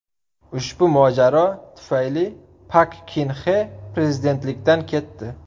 Ushbu mojaro tufayli Pak Kin Xe prezidentlikdan ketdi.